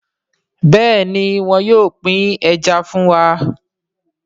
Béèni wón yóò pin Ẹja fún wá.